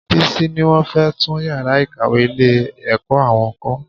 Bísí ní wọn fẹ tún yàrá ìkàwé ilé-ẹ̀kọ́ àwọn kọ́